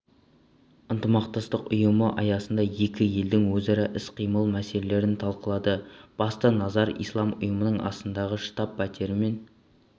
ынтымақтастық ұйымы аясындағы екі елдің өзара іс-қимылы мәселелерін талқылады басты назар ислам ұйымының астанадағы штаб-пәтерімен